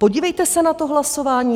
Podívejte se na to hlasování.